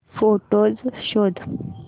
photos शोध